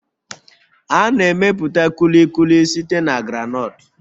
A na-emepụta Kulikuli site na groundnuts